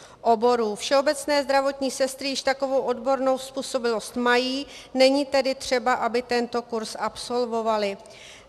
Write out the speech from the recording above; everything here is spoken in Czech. Všeobecné zdravotní sestry již takovou odbornou způsobilost mají, není tedy třeba, aby tento kurz absolvovaly.